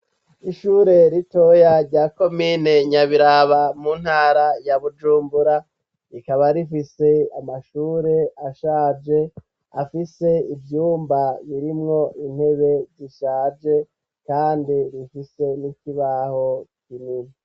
Ishure ritoya rya komine nyabiraba mu ntara ya bujumbura, rikaba rifise amashure ashaje afise ivyumba birimwo intebe zishaje kandi rifise n'ikibaho kinini.